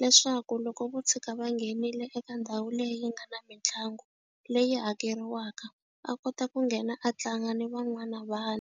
leswaku loko vo tshuka va nghenile eka ndhawu leyi nga na mitlangu leyi hakeriwaka a kota ku nghena a tlanga ni van'wana vana.